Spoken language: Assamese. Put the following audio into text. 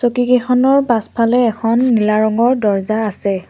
চকীকিখনৰ পাছফালে এখন নীলা ৰঙৰ দৰ্জা আছে।